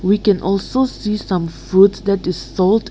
we can also say some fruits that is sold.